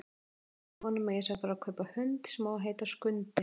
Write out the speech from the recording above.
Segðu honum að ég sé að fara að kaupa hund sem á að heita Skundi!